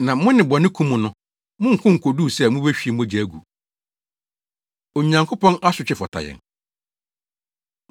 Na mo ne bɔne ko mu no, monko nkoduu sɛ mubehwie mogya agu. Onyankopɔn Asotwe Fata Yɛn